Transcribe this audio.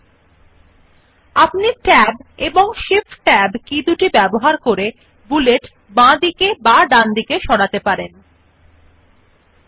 আপনি ট্যাব ব্যবহার ও ট্যাবের কি এবং বৃদ্ধি যথাক্রমে বুলেট জন্য ইন্ডেন্ট হ্রাস স্থানপরিবর্তন পারেন you can use Tab and shift tab keys to increase and decrease the indent for the bullets respectively